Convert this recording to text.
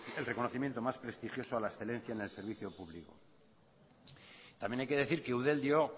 el reconocimiento más prestigioso a la excelencia en el servicio público también hay que decir que eudel dio